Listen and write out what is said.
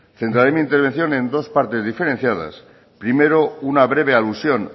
centraré mi intervención en dos partes diferenciadas primero una breve alusión